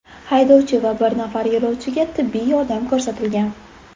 Haydovchi va bir nafar yo‘lovchiga tibbiy yordam ko‘rsatilgan.